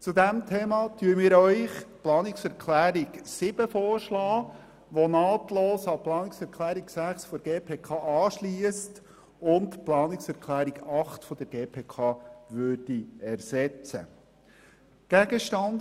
Hierzu schlagen wir Ihnen die Planungserklärung 7 vor, welche nahtlos an die Planungserklärung 6 der GPK anschliesst und die Planungserklärung 8 der GPK ersetzen würde.